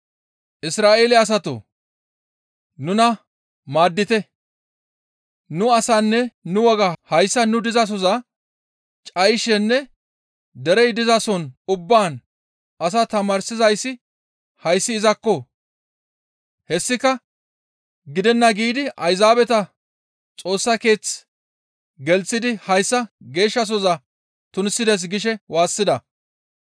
«Isra7eele asatoo! Nuna maaddite! Nu asaanne nu wogaa hayssa nu dizasoza cayishenne derey dizason ubbaan asaa tamaarsizayssi hayssi izakko! Hessika gidenna giidi Ayzaabeta Xoossa Keeth gelththidi hayssa geeshshasohoza tunisides» gishe waassida.